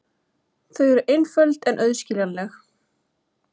Þau eru einföld og auðskiljanleg.